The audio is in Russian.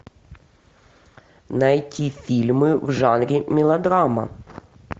найти фильмы в жанре мелодрама